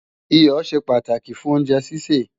Iyọ̀ ṣe pàtàkì fún oúnjẹ sísè